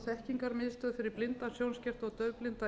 þekkingarmiðstöð fyrir blinda sjónskerta og daufblinda